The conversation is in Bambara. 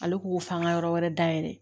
Ale ko ko f'an ka yɔrɔ wɛrɛ dayɛlɛ